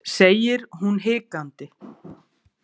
, segir hún hikandi.